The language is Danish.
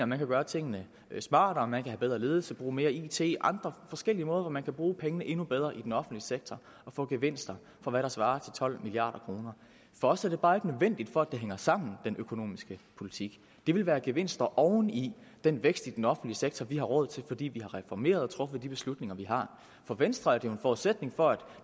man kan gøre tingene smartere man kan have bedre ledelse bruge mere it andre forskellige måder hvorpå man kan bruge pengene endnu bedre i den offentlige sektor og få gevinster for hvad der svarer til tolv milliard kroner for os er det bare ikke nødvendigt for at det hænger sammen i den økonomiske politik det vil være gevinster oven i den vækst i den offentlige sektor vi har råd til fordi vi har reformeret truffet de beslutninger vi har for venstre er det jo en forudsætning for at